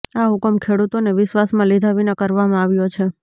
આ હુકમ ખેડૂતોને વિશ્વાસમાં લીધા વિના કરવામાં આવ્યો છે